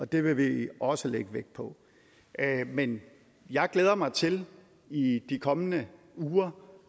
det vil vi også lægge vægt på men jeg glæder mig til i de kommende uger